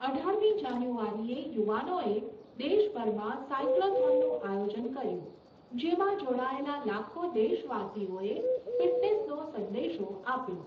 અઢારમી જાન્યુઆરીએ યુવાનોએ દેશભરમાં સાઇક્લૉથોનનું આયોજન કર્યું જેમાં જોડાયેલા લાખો દેશવાસીઓએ ફિટનેસનો સંદેશો આપ્યો.